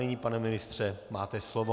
Nyní, pane ministře, máte slovo.